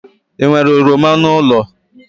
Ị nwere oroma n'ụlọ?